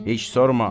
Heç sorma.